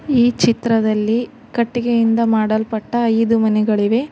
ಈ ಚಿತ್ರದಲ್ಲಿ ಕಟ್ಟಿಗೆಯಿಂದ ಮಾಡಲ್ಪಟ್ಟ ಐದು ಮನೆಗಳಿಗವೆ.